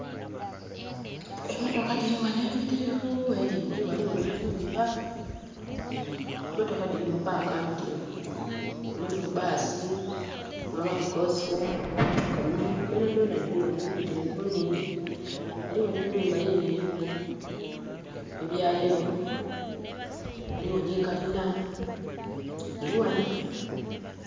Emotoka diri wano emibitirivu eningi, waliwo ne nhumba. Mmotoka diri mu paaka mbitirivu, mulimu baasi mwabamu kosita, mwabamu kamunye donadona diri wano mibitirivu nhingi. Waliwo nhe nhumba yino eriku ebya kyenvu, waliwo ni kalina. Diri wano